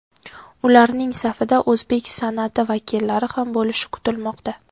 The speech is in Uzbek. Ularning safida o‘zbek san’ati vakillari ham bo‘lishi kutilmoqda.